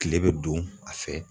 Kile me don a fɛ